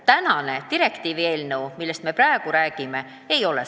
Direktiivi kaht artiklit puudutav eelnõu, millest me praegu räägime, maksustamist ei puuduta.